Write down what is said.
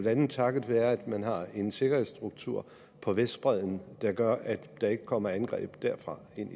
andet takket være at man har en sikkerhedsstruktur på vestbredden der gør at der ikke kommer angreb derfra ind